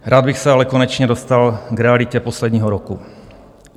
Rád bych se ale konečně dostal k realitě posledního roku.